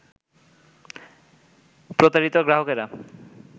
প্রতারিত গ্রাহকেরা